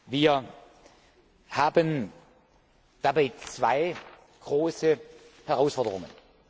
Wir haben dabei zwei große Herausforderungen.